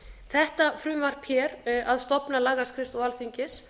þetta frumvarp hér að stofna lagaskrifstofu alþingis